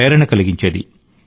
ప్రేరణ కలిగించేది